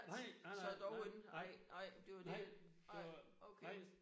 Nej! Nej nej nej nej nej det var nej